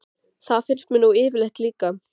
Það finnst mér nú yfirleitt líka.